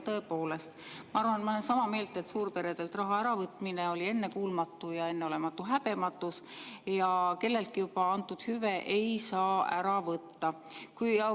Tõepoolest, ma olen sama meelt – suurperedelt raha äravõtmine oli ennekuulmatu ja enneolematu häbematus, sest kelleltki juba antud hüve ei ära võtta.